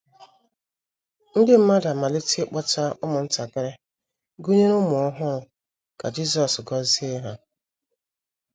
Ndị mmadụ amalite ịkpọta ụmụntakịrị, gụnyere ụmụ ọhụrụ, ka Jisọs gọzie ha.